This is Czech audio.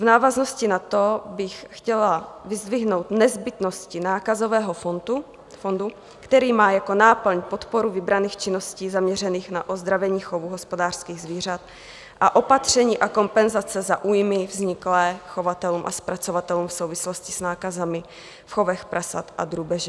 V návaznosti na to bych chtěla vyzdvihnout nezbytnosti nákazového fondu, který má jako náplň podporu vybraných činností zaměřených na ozdravení chovu hospodářských zvířat a opatření a kompenzace za újmy vzniklé chovatelům a zpracovatelům v souvislosti s nákazami v chovech prasat a drůbeže.